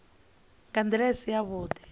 nga nḓila i si yavhuḓi